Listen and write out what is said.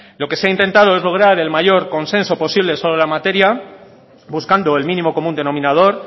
lo que se ha intentado es lograr el mayor consenso posible sobre la materia buscando el mínimo común denominador